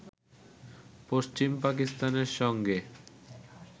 পশ্চিম পাকিস্তানের সঙ্গে